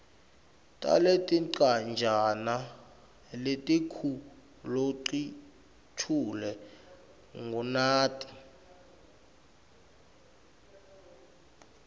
taletincwajana letikuloluchule ngunati